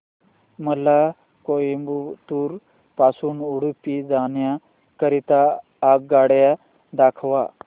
मला कोइंबतूर पासून उडुपी जाण्या करीता आगगाड्या दाखवा